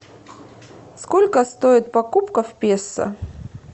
сколько стоит покупка в песо